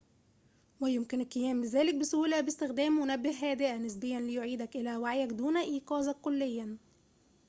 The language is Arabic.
ويمكن القيام بذلك بسهولة باستخدام منبه هادئة نسبياً ليُعيدك إلى وعيك دون إيقاظك كلياً